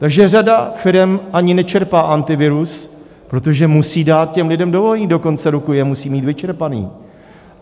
Takže řada firem ani nečerpá Antivirus, protože musí dát těm lidem dovolené, do konce roku je musí mít vyčerpané.